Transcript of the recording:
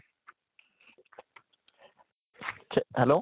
hello